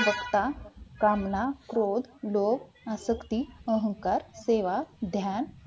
वक्ता कामना क्रोध लोग अशक्त अहंकार सेवा ध्यान